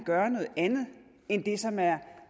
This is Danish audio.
gøre noget andet end det som er